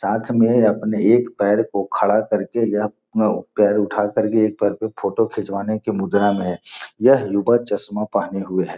साथ में अपने एक पैर को खड़ा करके यह पे-पैर उठा करके एक पैर पे फोटो खिचवाने की मुद्रा में है यह युवा चश्मा पहने हुए है।